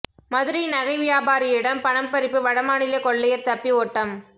மதுரை நகை வியாபாரியிடம் பணம் பறிப்பு வடமாநில கொள்ளையர் தப்பி ஓட்டம்